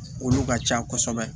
Olu ka ca kosɛbɛ